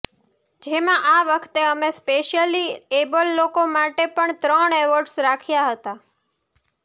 જેમા આ વખતે અમે સ્પેશિયલી એબલ લોકો માટે પણ ત્રણ એવોર્ડસ રાખ્યા હતા